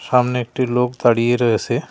সামনে একটি লোক দাঁড়িয়ে রয়েছে।